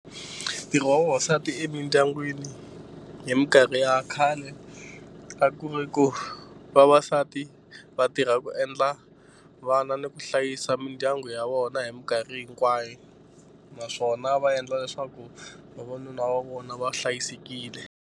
Ntirho wa vavasati emindyangwini hi mikarhi ya khale a ku ri ku vavasati va tirha ku endla vana ni ku hlayisa mindyangu ya vona hi mikarhi hinkwayo naswona va endla leswaku vavanuna va vona va hlayisekile.